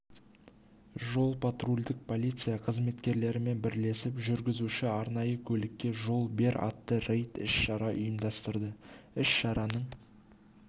жол-патрульдік полиция қызметкерлерімен бірлесіп жүргізуші арнайы автокөлікке жол бер атты рейдтік іс шара ұйымдастырды іс-шараның